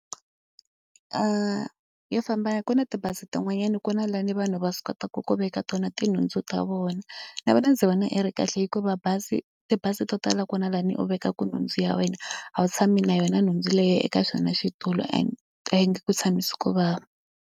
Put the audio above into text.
Yo famba kona tibazi tin'wanyani ku na laha ni vanhu va swi kotaka ku veka tona tinhundzu ta vona. Na vona ndzi vona yi ri kahle hikuva bazi tibazi to tala ku na laha ni u vekaka nhundzu ya wena, a wu tshami na yona nhundzu leyi eka xona xitulu and a yi nge ku tshamisi ku vava.